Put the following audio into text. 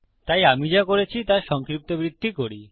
তাই আমি যা করেছি তা সংক্ষিপ্তবৃত্তি করি